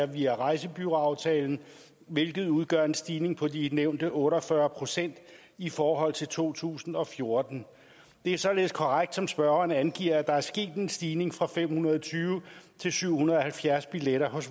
via rejsebureauaftalen hvilket udgør en stigning på de nævnte otte og fyrre procent i forhold til to tusind og fjorten det er således korrekt som spørgeren angiver at der er sket en stigning fra fem hundrede og tyve til syv hundrede og halvfjerds billetter hos